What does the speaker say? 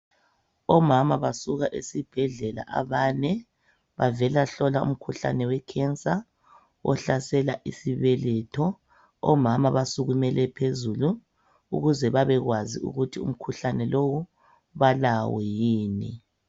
Omama basuka esibhedlela abane bavela hlola umkhuhlane wecancer ohlasela isibeletho. Omama basukumele phezulu ukuze babekwazi ukuthi umkhuhlane lowu balawo yini.